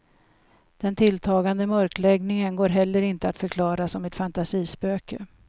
Den tilltagande mörkläggningen går heller inte att förklara som ett fantasispöke.